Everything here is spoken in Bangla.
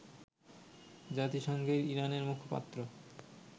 জাতিসংঘের ইরানের মুখপাত্র